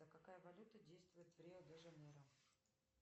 какая валюта действует в рио де жанейро